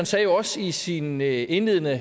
sagde jo også i sin indledende